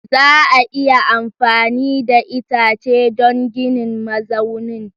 Za a iya amfani da itace don ginin mazaunin?